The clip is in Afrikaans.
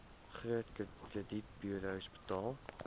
groot kredietburos betaal